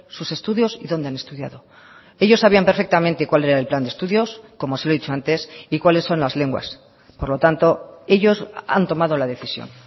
sus estudios y dónde han estudiado ellos sabían perfectamente cuál era el plan de estudios como se lo he dicho antes y cuáles son las lenguas por lo tanto ellos han tomado la decisión